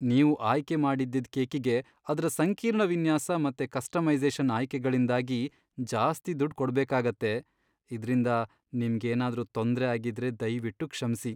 ನೀವು ಆಯ್ಕೆ ಮಾಡಿದ್ದಿದ್ ಕೇಕಿಗೆ ಅದ್ರ ಸಂಕೀರ್ಣ ವಿನ್ಯಾಸ ಮತ್ತೆ ಕಸ್ಟಮೈಸೇ಼ಷನ್ ಆಯ್ಕೆಗಳಿಂದಾಗಿ ಜಾಸ್ತಿ ದುಡ್ಡ್ ಕೊಡ್ಬೇಕಾಗತ್ತೆ. ಇದ್ರಿಂದ ನಿಮ್ಗೇನಾದ್ರೂ ತೊಂದ್ರೆ ಆಗಿದ್ರೆ ದಯ್ವಿಟ್ಟು ಕ್ಷಮ್ಸಿ.